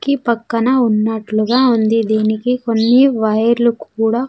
--కి పక్కన ఉన్నట్లుగా ఉంది దీనికి కొన్ని వైర్ లు కూడా.